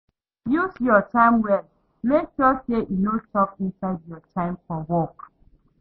Use you time well, make sure say e no chop inside your time for work